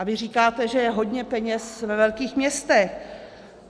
A vy říkáte, že je hodně peněz ve velkých městech.